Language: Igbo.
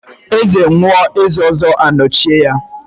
Eze nwụọ, eze ọzọ anọchie ya.